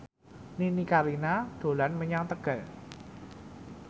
Nini Carlina dolan menyang Tegal